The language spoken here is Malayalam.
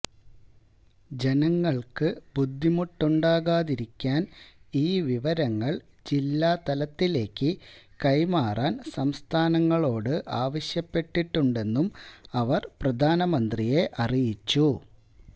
ജനങ്ങൾക്കു ബുദ്ധിമുട്ടുകളുണ്ടാകാതിരിക്കാൻ ഈ വിവരങ്ങൾ ജില്ലാതലത്തിലേക്ക് കൈമാറാൻ സംസ്ഥാനങ്ങളോട് ആവശ്യപ്പെട്ടിട്ടുണ്ടെന്നും അവർ പ്രധാനമന്ത്രിയെ അറിയിച്ചു